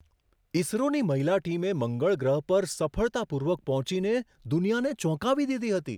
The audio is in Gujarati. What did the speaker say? ઈસરોની મહિલા ટીમે મંગળ ગ્રહ પર સફળતાપૂર્વક પહોંચીને દુનિયાને ચોંકાવી દીધી હતી.